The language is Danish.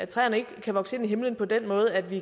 træerne ikke kan vokse ind i himlen på den måde at vi